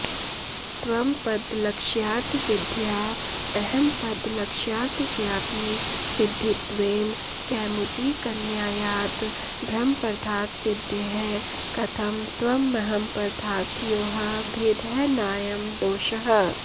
त्वंपदलक्ष्यार्थसिद्ध्या अहंपदलक्ष्यार्थस्यापि सिद्धित्वेन कैमुतिकन्यायात् ब्रह्मपदार्थसिद्धेः कथं त्वमहंपदार्थयोः भेदः नायं दोषः